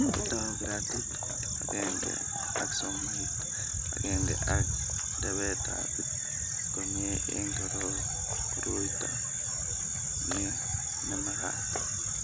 Kotou gratit akenge ak somoit agenge ak rebetab komie eng kuruoit ni nemagat